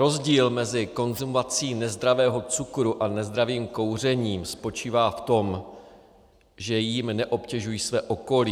Rozdíl mezi konzumací nezdravého cukru a nezdravým kouřením spočívá v tom, že jím neobtěžuji své okolí.